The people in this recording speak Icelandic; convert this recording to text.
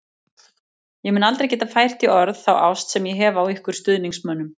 Ég mun aldrei geta fært í orð þá ást sem ég hef á ykkur stuðningsmönnum.